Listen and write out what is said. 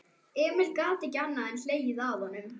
Emil gat ekki annað en hlegið að honum.